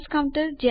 જોડાવા બદલ આભાર